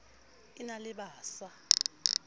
e na le ba sa